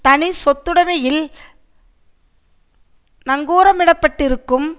தனிச்சொத்துடமையில் நங்கூரமிடப்பட்டிருக்கும்